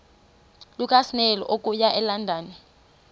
lukasnail okuya elondon